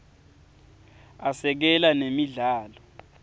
asekela nemidlalo